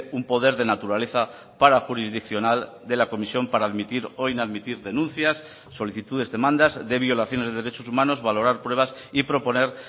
un poder de naturaleza parajurisdiccional de la comisión para admitir o inadmitir denuncias solicitudes demandas de violaciones de derechos humanos valorar pruebas y proponer